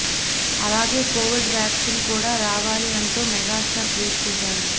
అలాగే covid vaccine కూడా రావాలి అంటూ మెగాస్టార్ ట్విట్ చేశారు